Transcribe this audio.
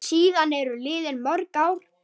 Síðan eru liðin mörg ár.